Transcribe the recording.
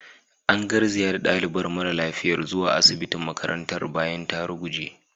An garzaya da dalibar mara lafiyar zuwa asibitin makarantar bayan ta ruguje.